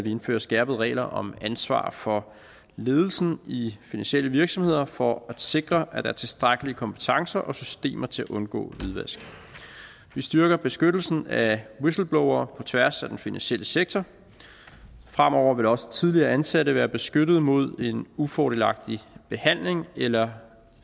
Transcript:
indfører skærpede regler om ansvar for ledelsen i finansielle virksomheder for at sikre at der er tilstrækkelige kompetencer og systemer til at undgå hvidvask vi styrker beskyttelsen af whistleblowere på tværs af den finansielle sektor fremover vil også tidligere ansatte være beskyttet mod en ufordelagtig behandling eller